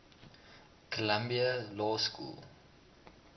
columbia law school